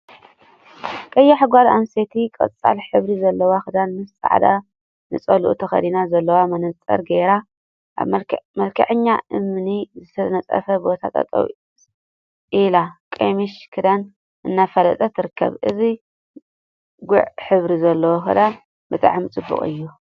ቀያሕ ጋል ኣንስተይቲ ቆጻል ሕብሪ ዘለዎ ክዳን ምስ ጻዕዳ ንጸልኡ ተከዲና ጸሊም መነጸር ገይራ ኣብ መልክዕኛ እምኒ ዝተነጸፎ ቦታ ጠጠው ኣኢላ ቀምሽ/ክዳን/ እናፋለጠት ትርከብ። እዚ ጉዕ ሕብሪ ዘለዎ ክዳን ብጣዕሚ ጽቡቅ እዩ።